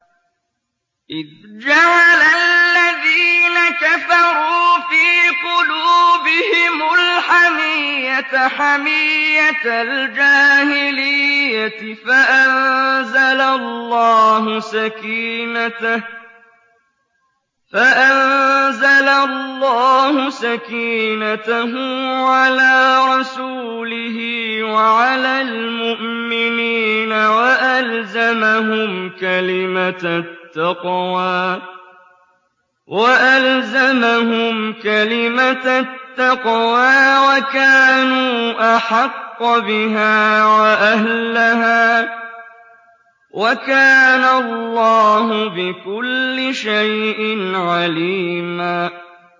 إِذْ جَعَلَ الَّذِينَ كَفَرُوا فِي قُلُوبِهِمُ الْحَمِيَّةَ حَمِيَّةَ الْجَاهِلِيَّةِ فَأَنزَلَ اللَّهُ سَكِينَتَهُ عَلَىٰ رَسُولِهِ وَعَلَى الْمُؤْمِنِينَ وَأَلْزَمَهُمْ كَلِمَةَ التَّقْوَىٰ وَكَانُوا أَحَقَّ بِهَا وَأَهْلَهَا ۚ وَكَانَ اللَّهُ بِكُلِّ شَيْءٍ عَلِيمًا